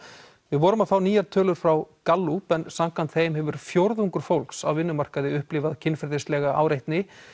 við vorum að fá nýjar tölur frá Gallup en samkvæmt þeim hefur fjórðungur fólks á vinnumarkaði upplifað kynferðislega áreitni